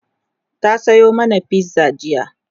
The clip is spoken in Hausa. ta Sayo mana fizza jiya